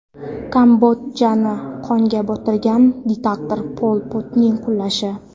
Kambodjani qonga botirgan diktator Pol Potning qulashi.